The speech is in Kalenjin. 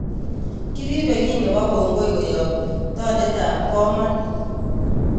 Kiripe kiiy nepo kongoi koyop tondetap komon